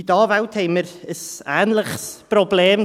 Bei den Anwälten haben wir ein ähnliches Problem.